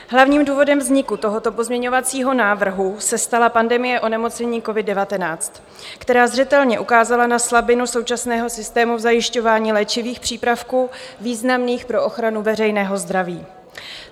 Hlavním důvodem vzniku tohoto pozměňovacího návrhu se stala pandemie onemocnění covid-19, která zřetelně ukázala na slabinu současného systému v zajišťování léčivých přípravků významných pro ochranu veřejného zdraví.